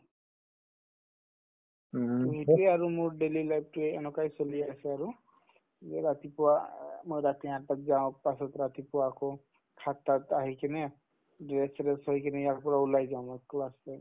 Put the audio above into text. to সেইটোয়ে মোৰ daily life তোয়ে এনেকুৱাই চলি আছে আৰু যে ৰাতিপুৱা আ মই ৰাতি আকৌ যাওঁ তাৰপিছত ৰাতিপুৱা আকৌ সাতটাত আহি কিনে dress চেচ্ থৈ কিনে ইয়াৰ পৰা ওলাই যাওঁ মই class ত